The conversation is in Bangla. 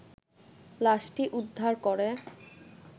লাশটি উদ্বার করে